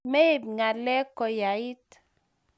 Meib ngalek koyait